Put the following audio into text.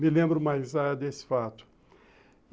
me lembro mais ah desse fato.